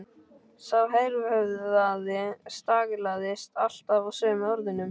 Sá berhöfðaði staglaðist alltaf á sömu orðunum